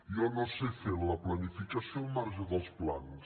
jo no sé fer la planificació al marge dels plans